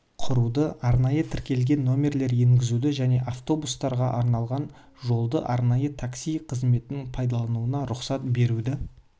құруды арнайы тіркелген нөмірлер енгізуді және автобустарға арналған жолды арнайы такси қызметінің пайлануына рұқсат беруді